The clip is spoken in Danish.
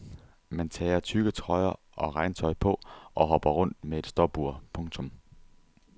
Man tager tykke trøjer og regntøj på og hopper rundt med et stopur. punktum